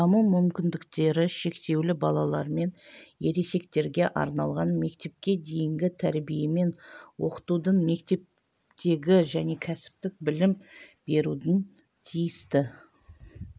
даму мүмкіндіктері шектеулі балалар мен ересектерге арналған мектепке дейінгі тәрбие мен оқытудың мектептегі және кәсіптік білім берудің тиісті